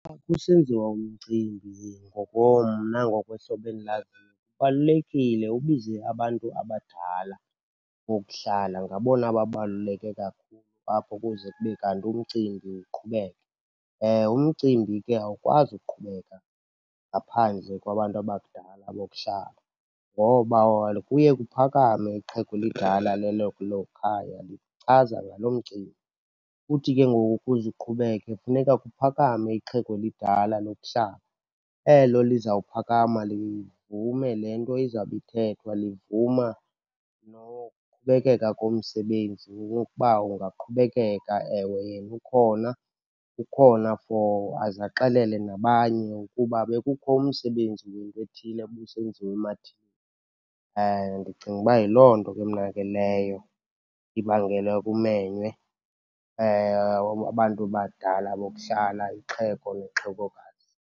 Xa kusenziwa umcimbi mna ngokwehlobo endilaziyo, kubalulekile ubize abantu abadala bokuhlala. Ngabona babaluleke kakhulu apho ukuze kube kanti umcimbi uqhubeke. Umcimbi ke awukwazi uqhubeka ngaphandle kwabantu abadala bokuhlala, ngoba kuye kuphakame ixhego elidala lelo khaya lichaza ngalo mcimbi. Uthi ke ngoku ukuze uqhubeke funeka kuphakame ixhego elidala lokuhlala. Elo lizawuphakama livume le nto izawube ithethwa, livuma nokuqhubekeka komsebenzi, ukuba ungaqhubekeka. Ewe yena ukhona, ukhona for aze axelele nabanye ukuba bekukho umsebenzi wento ethile ubusenziwa . Ndicinga uba yiloo nto ke mna ke leyo ibangela kumenywe abantu abadala bokuhlala, ixhego nexhegokazi.